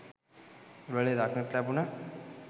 උළලේ දක්නට ලැබුණ